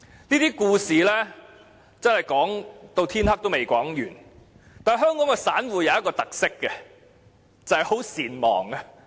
這些故事不停上演，但香港的散戶有一個特色，就是善忘。